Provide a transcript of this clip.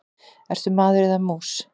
Ertu maður eða mús?